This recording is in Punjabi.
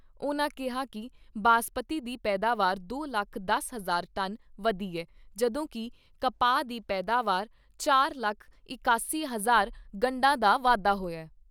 ਉਨ੍ਹਾਂ ਕਿਹਾ ਕਿ ਬਾਸਪਤੀ ਦੀ ਪੈਦਾਵਾਰ ਦੋ ਲੱਖ ਦਸ ਹਜ਼ਾਰ ਟਨ ਵਧੀ ਐ, ਜਦੋਂ ਕਿ ਕਪਾਹ ਦੀ ਪੈਦਾਵਾਰ 'ਚ ਚਾਰ ਲੱਖ ਇਕਾਸੀ ਹਜ਼ਾਰ ਗੰਡਾ ਦਾ ਵਾਧਾ ਹੋਇਆ।